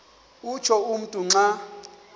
utsho umntu xa